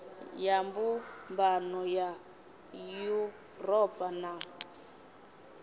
ya mbumbano ya yuropa na